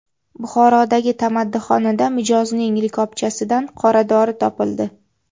Buxorodagi tamaddixonada mijozning likopchasidan qoradori topildi.